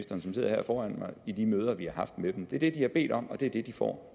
som sidder her foran mig om det i de møder vi har haft med dem det er det de har bedt om og det er det de får